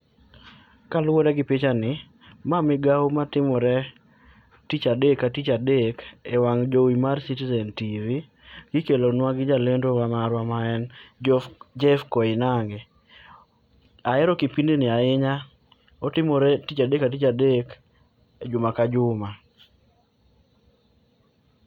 Kaluore gi pichani, ma migao matimore tich adek ka tich adek e wang jowi mar Citizen TV kikelo gi jalendo marwa maen Jeff Koinange. Ahero kipindi ni ahinya, otimore tich adek ka tich adek juma ka juma